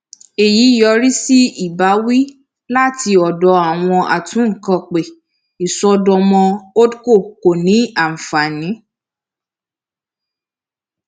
èyí yọrí sí ìbáwí láti ọdọ àwọn atúnkàn pé ìṣọdọmọ holdco kò ní ànfàní